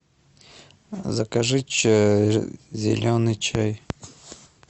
закажи зеленый чай